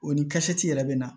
O ni yɛrɛ bɛ na